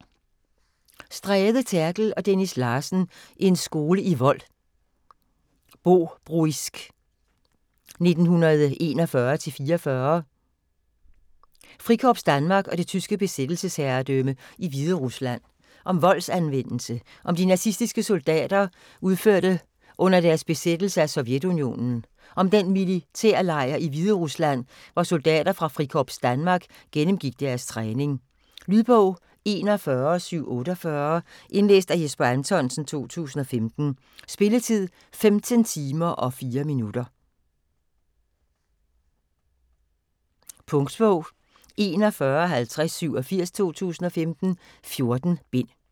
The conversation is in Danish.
Stræde, Therkel og Dennis Larsen: En skole i vold. Bobruisk 1941-44 Frikorps Danmark og det tyske besættelsesherredømme i Hviderusland. Om voldsanvendelse, som de nazistiske soldater udførte under deres besættelse af Sovjetunionen og om den militærlejr i Hviderusland, hvor soldater fra Frikorps Danmark gennemgik deres træning. Lydbog 41748 Indlæst af Jesper Anthonsen, 2015. Spilletid: 15 timer, 4 minutter. Punktbog 415087 2015. 14 bind.